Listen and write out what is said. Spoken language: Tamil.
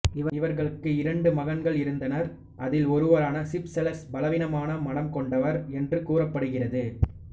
இவர்களுக்கு இரண்டு மகன்கள் இருந்தனர் அதில் ஒருவரான சிப்செலஸ் பலவீனமான மனம் கொண்டவர் என்று கூறப்படுகிறது